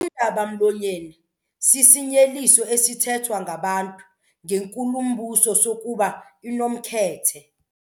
Undaba-mlonyeni sisinyeliso esithethwa ngabantu ngenkulumbuso sokuba inomkhethe.